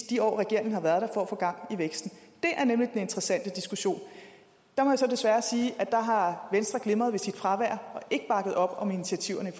de år regeringen har været der for at få gang i væksten det er nemlig den interessante diskussion der må jeg så desværre sige at der har venstre glimret ved sit fravær og ikke bakket op om initiativerne i